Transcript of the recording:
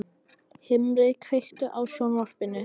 Himri, kveiktu á sjónvarpinu.